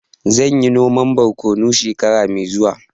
Zan yi noman borkonu shekara mai zuwa